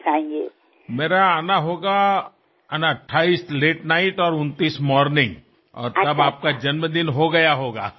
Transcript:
હું 28મીએ મોડી રાત્રે અને 29મીએ સવારે પાછો આવીશ અને ત્યારે તો આપનો જન્મદિન થઈ ગયો હશે